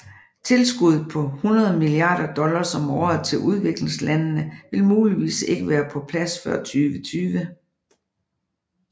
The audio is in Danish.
Tilskuddet på 100 milliarder dollars om året til udviklingslandende vil muligvis ikke være på plads før 2020